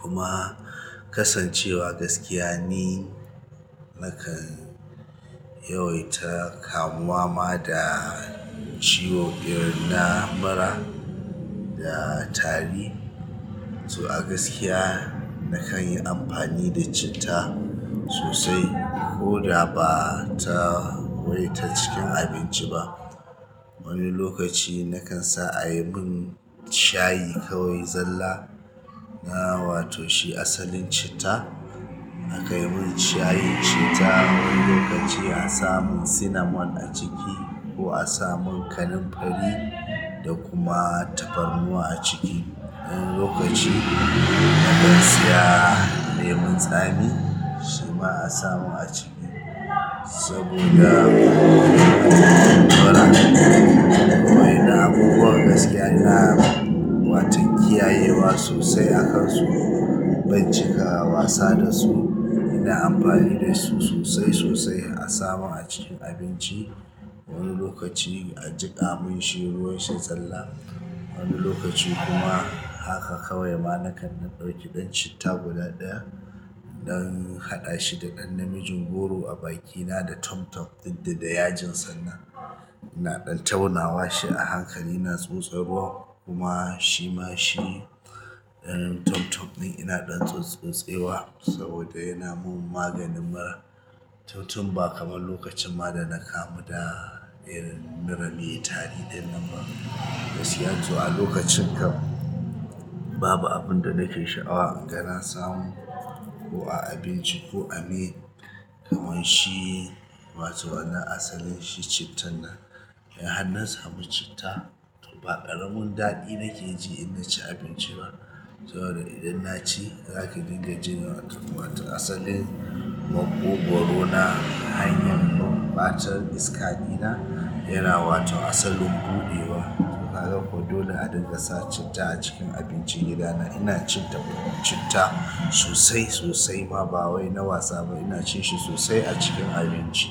Kuma kasancewa gaskiya ni nakan yawaita kamuwa ma da ciwo irin na mura da tari. To a gaskiya nakan yi amfani da citta sosai koda ba ta wai ta cikin abinci ba. Wani lokaci nakan sa a yi mun shayi kawai zalla. Na wato shi asalin citta. A kai mun shayin citta, wani lokaci a samun cinnamon a ciki ko a samun kanimfari da kuma tafarnuwa a ciki. Wani lokaci na kan saya lemon tsami, shi ma a samun a ciki saboda waɗannan abubuwan gaskiya na watan kiyayewa sosai a kan su. Ban cika wasa da su ina amfani da su sosai sosai. A samu a cikin abinci. Wani lokaci a jiƙa mun shi ruwan shi zalla. Wani lokaci kuma haka kawai ma na kan ɗauki ɗan citta guda ɗaya, in ɗan haɗa shi da ɗan namijin goro a bakina da tom-tom ɗin da da yajin sannan. Ina ɗan taunawa shi a hankali ina tsotsotsarwa kuma shi ma shi ɗan tom-tom ɗin ina ɗan tsotse wa saboda yana mun maganin mura. To tun ba kamar lokacin ma da na kamu da irin mura mai tari ɗinnan ma. Gaskiya to a lokacin kam, babu abun da nake sha'awa in ga na samu ko a abinci ko a me. Kaman shi wato wannan asalin shi citta nan. In har na samu citta, to ba ƙaramin daɗi nake ji inna ci abinci ba. Saboda idan na ci, zaki dinga jin asalin maƙwogoro na hanyar battle iska ɗina yana asalin buɗewa. To haka ko dole a dinga sa citta a cikin abinci gida na. Ina cin citta sosai sosai ma ba wai na wasa ba. Ina cin shi sosai a cikin abinci.